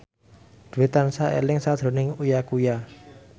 Dwi tansah eling sakjroning Uya Kuya